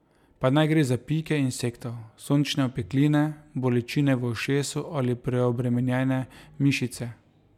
Pa naj gre za pike insektov, sončne opekline, bolečine v ušesu ali preobremenjene mišice.